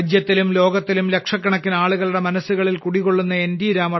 രാജ്യത്തിലും ലോകത്തിലും ലക്ഷക്കണക്കിനാളുകളുടെ മനസ്സുകളിൽ കുടികൊള്ളുന്ന എൻ